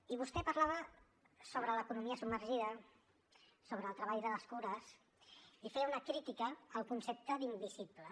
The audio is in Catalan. i vostè parlava sobre l’economia submergida sobre el treball de les cures i feia una crítica al concepte d’ invisibles